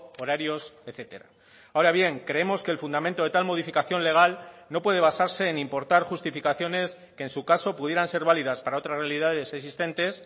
horarios etcétera ahora bien creemos que el fundamento de tal modificación legal no puede basarse en importar justificaciones que en su caso pudieran ser válidas para otras realidades existentes